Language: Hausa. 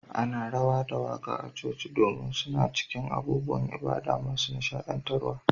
Ana rawa da waƙa a cikin coci domin suna cikin abubuwan ibada masu nishaɗantarwa.